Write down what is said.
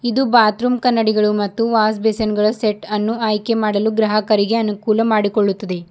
ಇದು ಬಾತ್ರೂಮ್ ಕನ್ನಡಿಗಳು ಮತ್ತು ವಾಜಬಿಸನ್ ಗಳ ಸೆಟ ಅನ್ನು ಆಯ್ಕೆಮಾಡಲು ಗ್ರಾಹಕರಿಗೆ ಅನುಕುಲ ಮಾಡಿಕೊಳ್ಳುತ್ತದೆ.